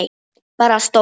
Bara stóll!